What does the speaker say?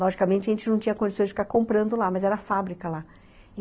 Logicamente, a gente não tinha condição de ficar comprando lá, mas era a fábrica lá.